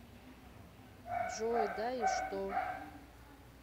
джой да и что